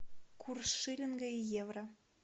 курс шиллинга и евро